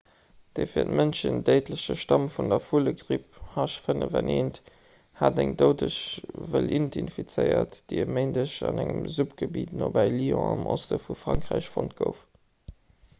de fir d'mënschen déidleche stamm vun der vullegripp h5n1 hat eng doudeg wëlliint infizéiert déi e méindeg an engem suppgebitt nobäi lyon am oste vu frankräich fonnt gouf